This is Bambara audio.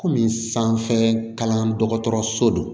Kɔmi sanfɛ kalan dɔgɔtɔrɔso don